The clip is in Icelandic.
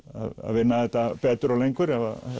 vinna þetta betur og lengur